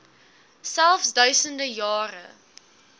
selfs duisende jare